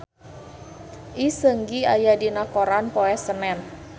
Lee Seung Gi aya dina koran poe Senen